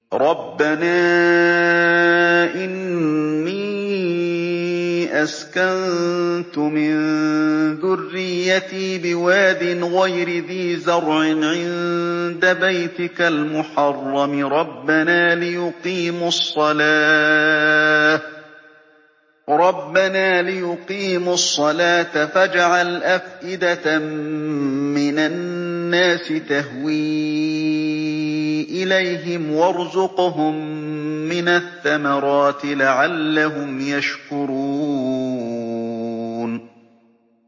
رَّبَّنَا إِنِّي أَسْكَنتُ مِن ذُرِّيَّتِي بِوَادٍ غَيْرِ ذِي زَرْعٍ عِندَ بَيْتِكَ الْمُحَرَّمِ رَبَّنَا لِيُقِيمُوا الصَّلَاةَ فَاجْعَلْ أَفْئِدَةً مِّنَ النَّاسِ تَهْوِي إِلَيْهِمْ وَارْزُقْهُم مِّنَ الثَّمَرَاتِ لَعَلَّهُمْ يَشْكُرُونَ